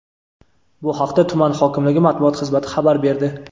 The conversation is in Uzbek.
Bu haqda tuman hokimligi matbuot xizmati xabar berdi.